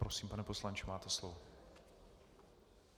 Prosím, pane poslanče, máte slovo.